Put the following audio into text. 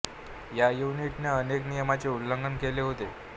या युनिट ने अनेक नियमांचे उल्लंघन केले होते